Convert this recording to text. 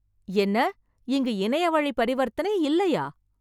என்ன இங்கு இணைய வழி பரிவர்தனை இல்லையா?